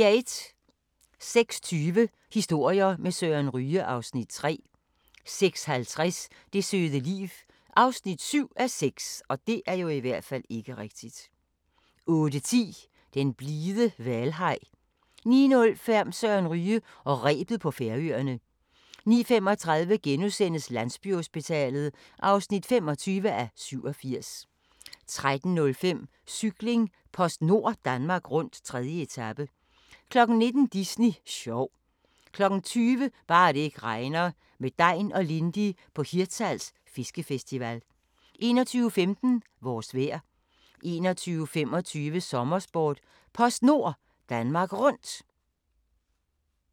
06:20: Historier med Søren Ryge (Afs. 3) 06:50: Det søde liv (7:6) 08:10: Den blide hvalhaj 09:05: Søren Ryge og rebet på Færøerne 09:35: Landsbyhospitalet (25:87)* 13:05: Cykling: PostNord Danmark rundt, 3. etape 19:00: Disney sjov 20:00: Bare det ikke regner – med Degn og Lindy på Hirtshals Fiskefestival 21:15: Vores vejr 21:25: Sommersport: PostNord Danmark Rundt